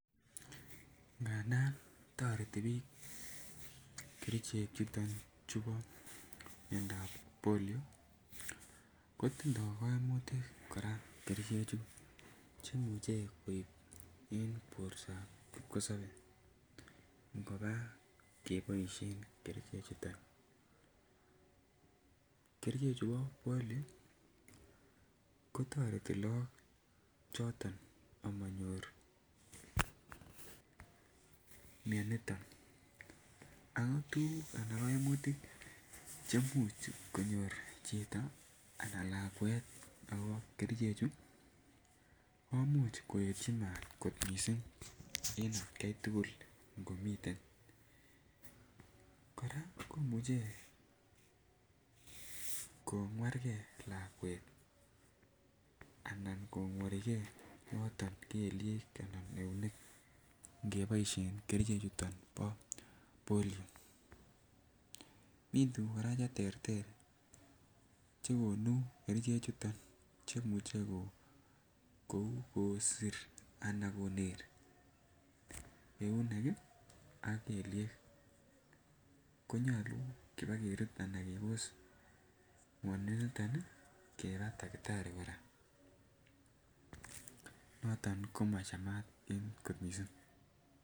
Ngadan toreti biik kerichek chuton chubo miondap polio kotindo koimutik koraa kerichek chu che imuche koib en bortab kipkosobee ngobaa keboishen kerichek chuton. Kerichek chubo polio ko toreti look choton omonyor mioniton ako tuguk anan koimutik chemuch konyor chito anan lakwet okobo kerichek chu komuch koetyi maat kot missing en atkai tugul komiten koraa komuche kongwargee lakwet anan kongworigee kelyek anan eunek ngeboishen kerichek chu bo polio, mi tuguk koraa ko terter che gonuu kerichek chuton chemuche kouu kosir ana koner eunek ii ak keliek, konyoluu Kobo kerut ana kebos mioniton ii kebaa takitari koraa noton koma Cham en kot missing